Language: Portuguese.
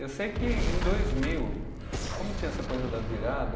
Eu sei que em dois mil, como tinha essa coisa da virada,